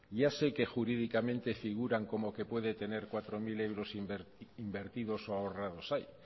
ya sé que jurídicamente figuran como que puede tener cuatro mil euros invertidos o ahorrados ahí